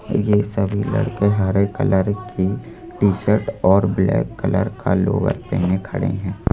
ये सभी लड़के हरे कलर की टी शर्ट और ब्लैक कलर का लोअर पहने खड़े हैं।